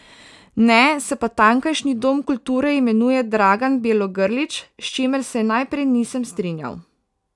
Ne, se pa tamkajšnji dom kulture imenuje Dragan Bjelogrlić, s čimer se najprej nisem strinjal.